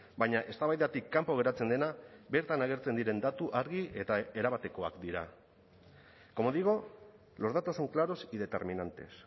baina eztabaidatik kanpo geratzen dena bertan agertzen diren datu argi eta erabatekoak dira como digo los datos son claros y determinantes